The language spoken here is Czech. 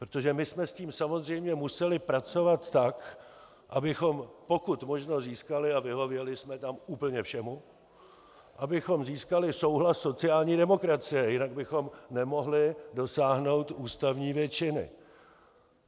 Protože my jsme s tím samozřejmě museli pracovat tak, abychom pokud možno získali, a vyhověli jsme tam úplně všemu, abychom získali souhlas sociální demokracie, jinak bychom nemohli dosáhnout ústavní většiny.